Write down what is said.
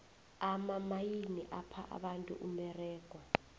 amamayini apha abantu umberego